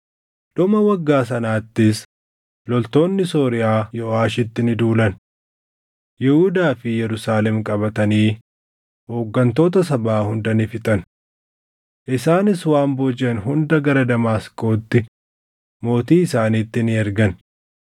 Dhuma waggaa sanaattis loltoonni Sooriyaa Yooʼaashitti ni duulan; Yihuudaa fi Yerusaalem qabatanii hooggantoota sabaa hunda ni fixan. Isaanis waan boojiʼan hunda gara Damaasqootti mootii isaaniitti ni ergan.